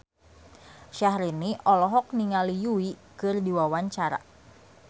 Syahrini olohok ningali Yui keur diwawancara